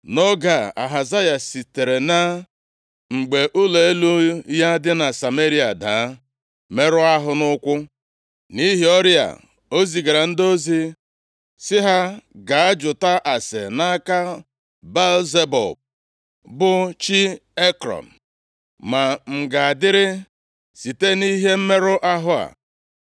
Nʼoge a, Ahazaya sitere na mgbe ụlọ elu ya dị na Sameria daa, merụọ ahụ nke ukwuu. Nʼihi ọrịa a, o zigara ndị ozi, sị ha, “Gaa jụta ase nʼaka Baal-Zebub, + 1:2 Baal-Zebub bụ aha ndị Kenan, nke pụtara eze mmụọ ọjọọ, maọbụ ekwensu. Beel-Zebub nke pụtara, eze ụmụ ijiji bụ aha ịkwa emo nye chi ndị Kenan a na-akpọ Baal-Zebub. \+xt Mat 10:25; 12:27\+xt* bụ chi Ekrọn, ma m ga-adịrị site nʼihe mmerụ ahụ a.”